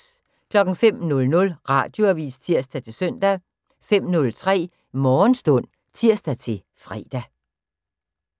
05:00: Radioavis (tir-søn) 05:03: Morgenstund (tir-fre)